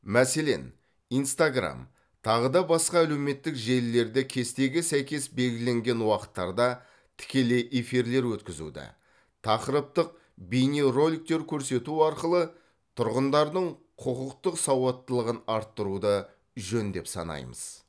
мәселен инстаграм тағы да басқа әлеуметтік желілерде кестеге сәйкес белгіленген уақыттарда тікелей эфирлер өткізуді тақырыптық бейнероликтер көрсету арқылы тұрғындардың құқықтық сауаттылығын арттыруды жөн деп санаймыз